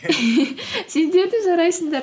сендер де жарайсыңдар